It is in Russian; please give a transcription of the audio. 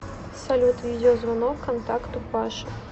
салют видеозвонок контакту паша